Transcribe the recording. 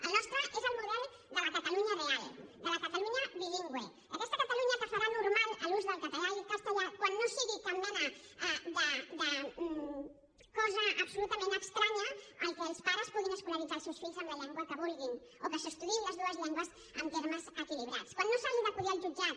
el nostre és el model de la catalunya real de la catalunya bilingüe d’aquesta catalunya que farà normal l’ús del català i el castellà quan no sigui cap mena de cosa absolutament estranya que els pares puguin escolaritzar els seus fills en la llengua que vulguin o que se estudiïn les dues llengües amb termes equilibrats quan no s’hagi d’acudir al jutjat